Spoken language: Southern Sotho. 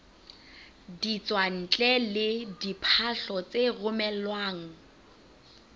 ditswantle le diphahlo tse romelwang